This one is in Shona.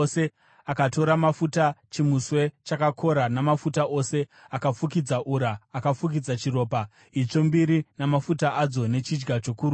Akatora mafuta, chimuswe chakakora, mafuta ose akafukidza ura, akafukidza chiropa, itsvo mbiri namafuta adzo nechidya chokurudyi.